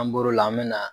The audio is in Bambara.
An bɔr'o la an bɛ na